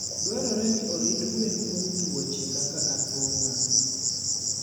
Dwarore ni orit gwen kuom tuoche kaka athung'a.